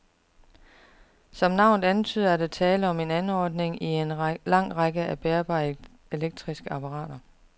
Som navnet antyder, er der tale om en anordning i en lang række af bærbare elektriske apparater.